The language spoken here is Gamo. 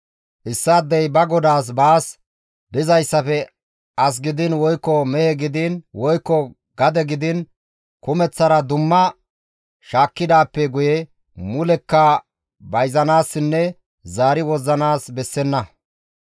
« ‹Issaadey ba godaas baas dizayssafe as gidiin woykko mehe, gidiin woykko gade gidiin kumeththara dumma shaakkidaappe guye mulekka bayzanaassinne zaari wozzanaas bessenna.